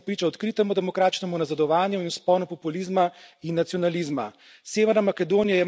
V regiji, v kateri smo priča odkritemu demokratičnemu nazadovanju in vzponu populizma in nacionalizma.